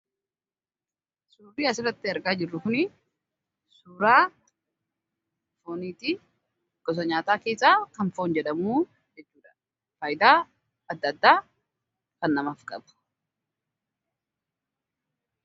Suurri asirratti argaa jirru Kunii, suuraa fooniiti. Gosa nyaataa keessaa kan foon jedhamu faayidaa addaa addaa dhala namaaf qabu.